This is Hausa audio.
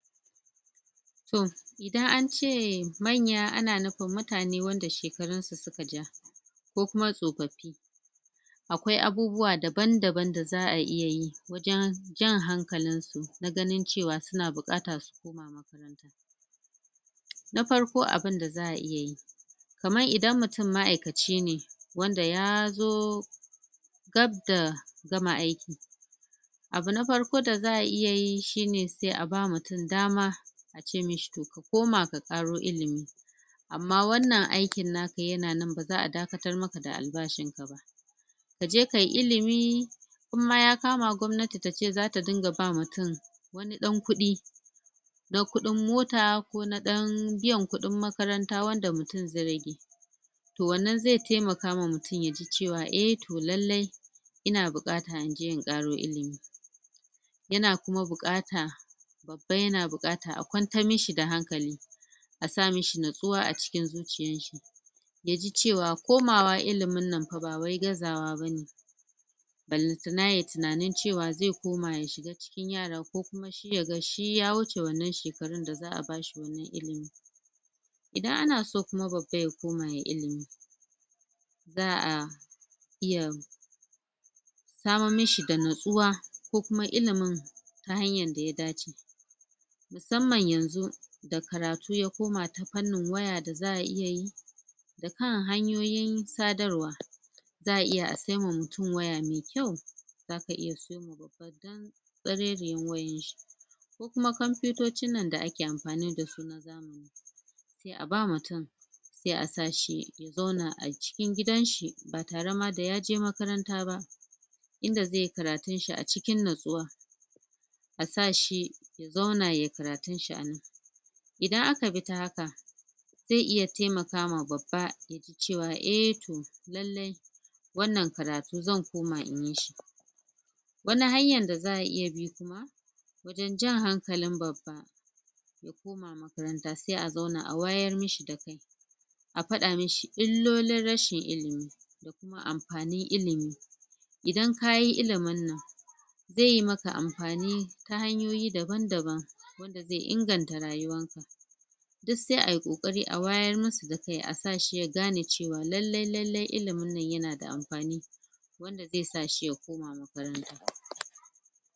to idan ance manya to ana nufin mutane wanda shekarun su suka ja ko kuma tsofaffi akwai abubuwa daban danban da za'a iyayi wajen jan hankalin su na ganin cewa suna bukata su koma makaranta na farko abinda za'a iyayi kamar idan mutum ma'aikaci ne wanda ya dab da gama aiki abu na farko da za'a iyayi shine sai aba mutum dama ace mishi to ka koma ka karo ilimi amma wannan aikin naka yana nan baza'a dakatar maka da albashin ka ba aje kayi ilimi idan ma ya kama gwamnati tace zata dinga ba mutum wani dan kudi na kudin mota ko na dan biyan kudin makaranta wanda mutum zai rage to wannan zai taimaka ma mutum yaji cewa eh to lallai ina bukata injein karo ilimi yana kuma bukata babba yana bukata a kwantar mashi da hankali asa mashi natsuwa a cikin zuciyar shi yaji cewa komawa ilimin nan fa ba wai gazawa bane balantana yayi tunanin cewa zai koma ya shiga cikin yaraa ko kuma shi yaga shi ya wuce wannan shekarun da za'a bashi wannan ilimin idan ana so kuma babba ya koma yayi ilimi za'a iya samar mashi da natsuwa kokuma ilimin ta hanyar daya dace musamman yanzu da karatu ya koma ta fannin waya da za'a iyayi da kan hanyoyin sadarwa za'aiya a sai ma mutum waya mai kyau zaka iya sawo ma babba kantsareriyar wayar shi kuma kompuyutocin nan da ake amfani dasu na zamani aba mutum sai a sashi ya zauna a cikin gidan shi ba tare da yaje makaranta ba inda zaiyi karatun shi a cikin natsuwa asa shi ya zauna yayi karatun shi anan idan aka bi ta haka zai iya taimaka ma babba suji cewa eh to lallai wannan karatu zan koma inyi shi wani hanyan da za'a iyabi kuma don jan hankalin babba ya koma makaranta sai a zauna a wayar mashi da kai a fada mashi illolin rashin ilimi amfanin ilimi idan kayi ilimin nan zaiyi maka amfani ta hanyoyi daban daban wanda zai inganta rayuwar ka duk sai ayi kokari a wayar masu da kai asa shi ya gane cewa lallai lallai ilimin nan yana da amfani wanda zai sa shi ya koma makaranta